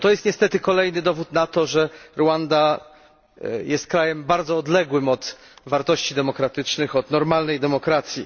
Jest to niestety kolejny dowód na to, że Rwanda jest krajem bardzo odległym od wartości demokratycznych, od normalnej demokracji.